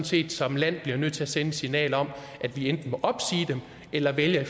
set som land bliver nødt til at sende et signal om at vi enten må opsige dem eller vælge